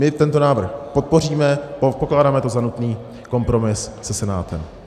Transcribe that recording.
My tento návrh podpoříme, pokládáme to za nutný kompromis se Senátem.